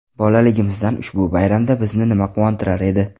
Bolaligimizdan ushbu bayramda bizni nima quvontirar edi?